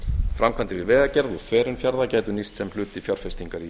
framkvæmdir við vegagerð og þverun fjarða gætu nýst sem hluti fjárfestingar í